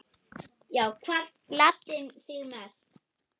Já Hvað gladdi þig mest?